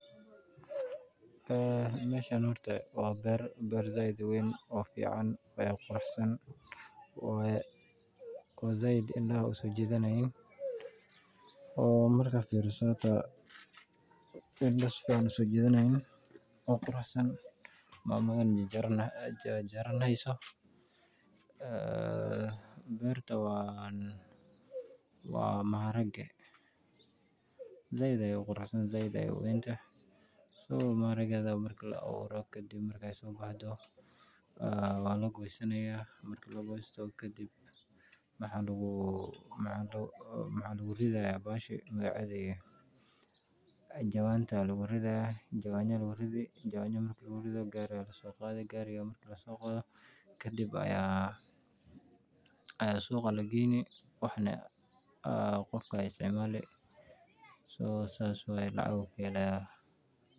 Aa masha horta waa bar, bar said u wan oo fican oo quruxsan waya, said indha u sojidayin, oo marka firsoh oo indha sifican u sojidanayin, oo quruxsan, mama jarjaranisoh, aa marka aa wa maharika, said ayay u quruxsantahay said ayay u wan tahay maharikada lagu awuroh kadhib, said u bahdoh, wa lagosanayah marki la gostoh ka dhib maxa lagu ridayah mahshi magacdi, jawanta lagu ridayah jawanya lagu ridi jawanya marki laku ridoh gari aya lasocadii, garika marki la socdoh, ka dhib aya suqa lagayni wax na qofka aya isticmali so saas waya lacag ayu ka halayah.